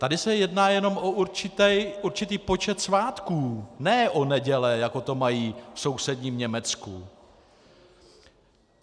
Tady se jedná jenom o určitý počet svátků, ne o neděle, jako to mají v sousedním Německu.